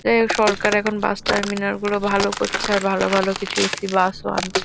এ সরকার এখন bus terminal -গুলো ভালো করছে। আর ভালো ভালো কিছু এ.সি. বাস -ও আনছে।